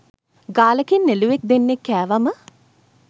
ගාලකින් එළුවෙක් දෙන්නෙක් කෑවම